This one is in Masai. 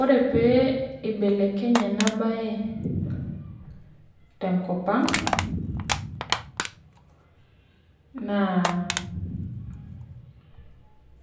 Ore peibelekenye enabae tenkopang na